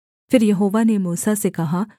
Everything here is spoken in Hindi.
फिर यहोवा ने मूसा से कहा